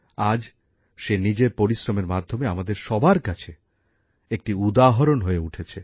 আজ সে নিজের পরিশ্রমের মাধ্যমে আমাদের সবার কাছে একটি উদাহরণ হয়ে উঠেছে